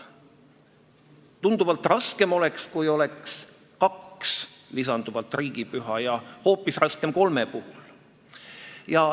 Tunduvalt raskem oleks, kui lisanduks kaks riigipüha ja hoopis raskem oleks kolme puhul.